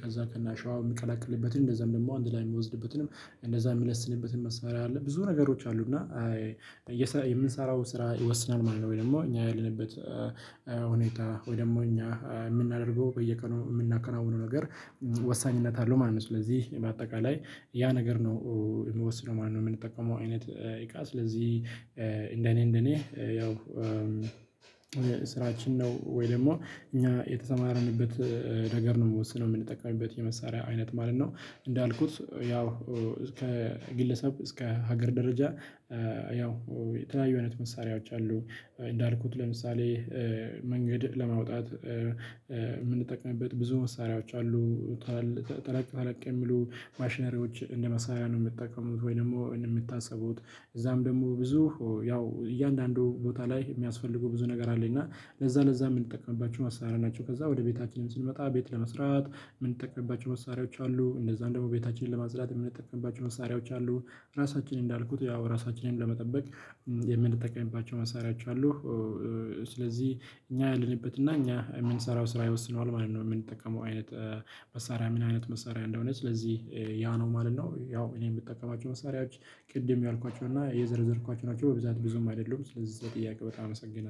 ከዛ ከናሸዋ ምቀላቅልበትን እንደዛም ደግሞ አንድ ላይ ምወዝድበትንም እንደዛ ምለስንበትን መስመር አለ። ብዙ ነገሮች አሉ እና የምንሰራው ስራ ይወስናል ማለት ነው። ወይ ደግሞ እኛ ያለንበት ሁኔታ ወይ ደግሞ እኛ እምናደርገው በየቀኑ ምናከናውነው ነገር ወሳኝነት አለው ማለት ነው። ስለዚህ በአጠቃላይ ያ ነገር ነው እሚወስነው ማለት ነው። ምንጠቀመው አይነት እቃ ስለዚህ እንደኔ እንደኔ ያው ስራችን ነው ወይ ደግሞ እኛ የተሰማረንበት ነገር ነው ምወስነው ምንጠቀምበት የመሳሪያ አይነት ማለት ነው። እንዳልኩት ያው እስከ ግለሰብ እስከ ሀገር ደረጃ ያው የተለያዩ አይነት መሳሪያዎች አሉ። እንዳልኩት ለምሳሌ መንገድ ለማውጣት የምንጠቅምበት ብዙ መሳሪያዎች አሉታል ተለቅ ተለቅ የሚሉ ማሽነሪዎች እንደ መሳሪያ ነው ምጠቀሙት ወይም ደግሞ እንደሚታስቡት እዛም ደግሞ ብዙ ያው እያንዳንዱ ቦታ ላይ ሚያስፈልጉ ብዙ ነገር አለ እና ለዛ ለዛ ምንጠቀምባቸው ማሳሪያ ናቸው። ከዛ ወደ ቤታችንም ስንመጣ ቤት ለመስራት ምንጠቀምባቸው መሳሪያዎች አሉ እነዛን ደግሞ ቤታችንን ለማጽዳት የምንጠቀምባቸው መሳሪያዎች አሉ። ራሳችን እንዳልኩት ያው ራሳችንን ለመጠበቅ የምንጠቀምባቸው መሳሪያወች አሉ። ስለዚህ እኛ ያለንበትና እኛ ምንሰራው ስራ ይወስነዋል ማለት ነው። የምንጠቀመው አይነት መሳሪያ ምን አይነት መሳሪያ እንደሆነ ስለዚህ ያ ነው ማለት ነው። ያው እኔን ምጠቀማቸው መሳሪያዎች ቅድም ያልኳቸው እና የዘረዘርኳቸው ናቸው በብዛት ብዙም አይደሉም ስለዚህ ጥያቄ በጣም አመሰግናለሁ